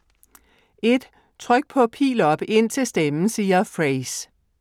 1. Tryk på Pil op indtil stemmen siger Frase.